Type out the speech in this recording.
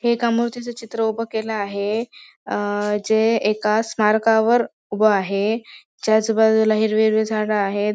हे एका मूर्तीचे चित्र उभ केल आहे अ जे एका स्मारकवर उभ आहे त्याच बाजूला हिरवे हिरवे झाड आहे.